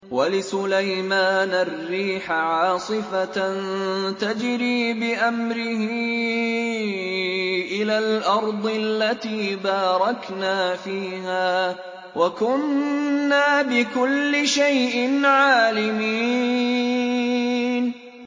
وَلِسُلَيْمَانَ الرِّيحَ عَاصِفَةً تَجْرِي بِأَمْرِهِ إِلَى الْأَرْضِ الَّتِي بَارَكْنَا فِيهَا ۚ وَكُنَّا بِكُلِّ شَيْءٍ عَالِمِينَ